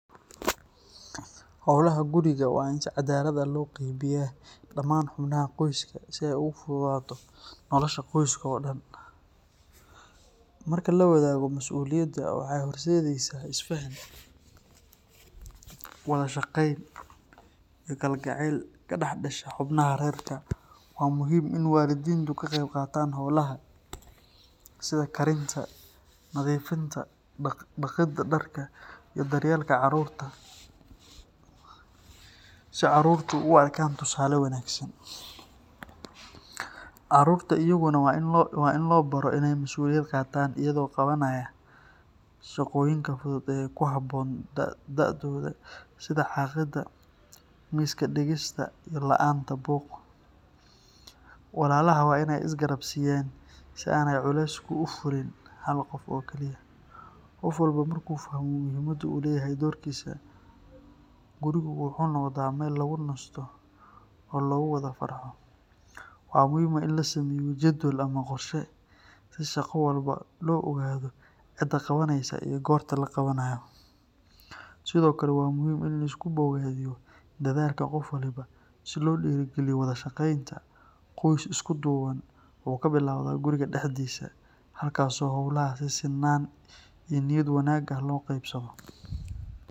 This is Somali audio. Goorta ugu habboon ee la fuulo Buurta Kenya ama la booqdo Hell's Gate waa xilliga jiilaalka ama xilliga roob-yarida, gaar ahaan bilaha Janaayo ilaa Maarso ama Juun ilaa Sebtembar, markaas oo cimiladu tahay mid deggan, roobabkuna yaryihiin. Xilligan, daruurtu ma badna, cirka waa furan yahay, heerkulkuna waa dhexdhexaad, taasoo ka dhigaysa safarka buuraha mid ammaan ah oo raaxo leh. Buurta Kenya waa buurta labaad ee ugu dheer Afrika, waxayna leedahay baraf joogto ah oo ku yaal sareheeda. Socdaalka buurta wuxuu u baahan yahay diyaar-garow, qalab gaar ah, iyo jirdhis wanaagsan. Dhanka kale, Hell’s Gate National Park, oo ku taalla bartamaha Kenya, waa meel caan ku ah dooxooyin dhagaxeed, ilaha karkaraya.